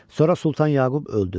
Sonra Sultan Yaqub öldü.